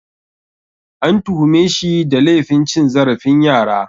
An tuhume shi da laifin cin zarafin yara